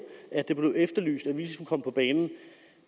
at det blev efterlyst at vi ligesom skulle komme på banen